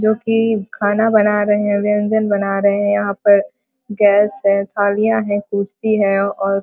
जो कि खाना बना रहे है व्यंजन बना रहे है यहाँ पर गैस है थालियां है कुर्सी है और --